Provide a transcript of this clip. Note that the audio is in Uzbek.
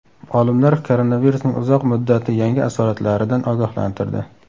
Olimlar koronavirusning uzoq muddatli yangi asoratlaridan ogohlantirdi.